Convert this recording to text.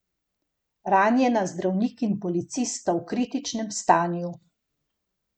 Ranjena zdravnik in policist sta v kritičnem stanju.